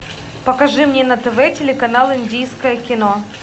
покажи мне на тв телеканал индийское кино